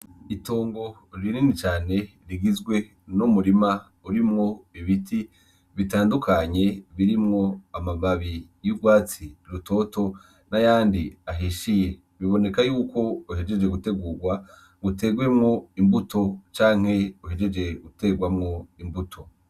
Itongo rinini cane rigizwe n'umurima urimwo ibiti bitandukanye birimwo amababi y'urwatsi rutoto n'ayandi ahishiye biboneka yuko wahejeje gutegurwa ngo uterwemo imbuto canke uhejeje guterwamwo imbuto.